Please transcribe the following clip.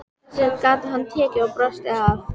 Þessu gat hann tekið og brosti að.